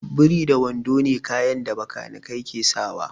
Biri da wando ne kayan da bakanikai ke sawa